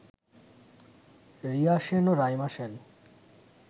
রিয়া সেন ও রাইমা সেন